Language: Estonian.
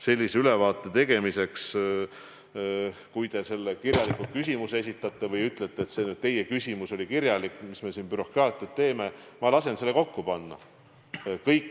Sellise ülevaate tegemiseks, kui te kirjalikult küsimuse esitate – või ütlete, et see teie küsimus oli kirjalik, mis me siin ikka bürokraatiat teeme – siis ma lasen selle kokku panna.